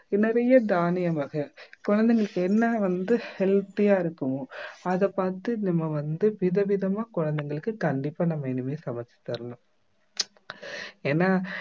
நிறைய தானிய வகை குழந்தைகளுக்கு என்ன வந்து healthy யா இருக்குமோ அதை பார்த்து நம்ம வந்து, விதவிதமா குழந்தைங்களுக்கு கண்டிப்பா நம்ம இனிமே சமைச்சு தரணும். ஏன்னா